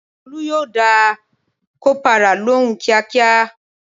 Tolu yo da kopara lóhùn kíákíá